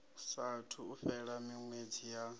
saathu u fhela miṅwedzi ya